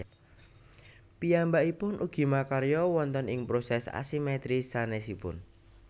Piyambakipun ugi makarya wonten ing proses asimetris sanésipun